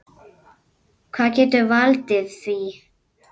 Hvað getur valdið því?